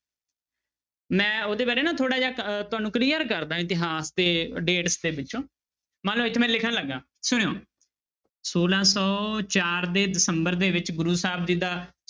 ਮੈਂ ਉਹਦੇ ਬਾਰੇ ਨਾ ਥੋੜ੍ਹਾ ਜਿਹਾ ਅਹ ਤੁਹਾਨੂੰ clear ਕਰ ਦੇਵਾਂ ਇਤਿਹਾਸ ਦੇ dates ਦੇ ਵਿੱਚੋਂ ਮਨ ਲਓ ਇੱਥੇ ਮੈਂ ਲਿਖਣ ਲੱਗਾਂ ਸੁਣਿਓ, ਛੋਲਾਂ ਸੌ ਚਾਰ ਦੇ ਦਸੰਬਰ ਦੇ ਵਿੱਚ ਗੁਰੁ ਸਾਹਿਬ ਜੀ ਦਾ